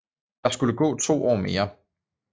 Der skulle gå to år mere